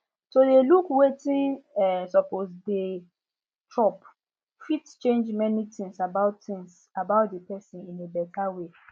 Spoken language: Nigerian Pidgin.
to dey look wetin um suppose dey chop fit change many things about things about the person in a better way